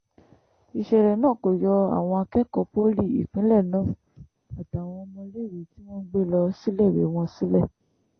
ìṣẹ̀lẹ̀ náà kò yọ àwọn akẹ́kọ̀ọ́ poli ìpínlẹ̀ náà àtàwọn ọmọléèwé tí wọ́n ń gbé lọ síléèwé wọn sílẹ̀